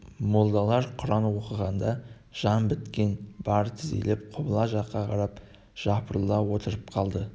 молдалар құран оқығанда жан біткен бір тізелеп құбыла жаққа қарап жапырыла отырып қалды